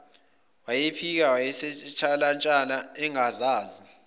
wayiphika wayesentshalantsha engazazi